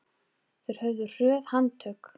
Þeir höfðu hröð handtök.